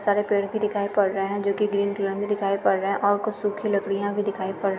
सारे पेड़ भी दिखाई पड़ रहे है जोकि ग्रीन कलर में दिखाई पड़ रहे है और कुछ सुखी लकड़ियां भी दिखाई पड़ रही हैं।